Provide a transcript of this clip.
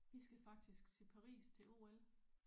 Vi skal faktisk til Paris til OL